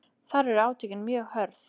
Þar urðu átökin mjög hörð